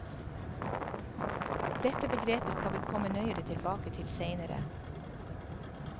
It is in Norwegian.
Dette begrepet skal vi komme nøyere tilbake til seinere.